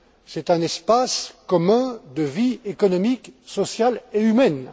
C'est un espace commun de vie économique, sociale et humaine.